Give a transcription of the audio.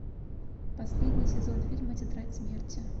последний сезон фильма тетрадь смерти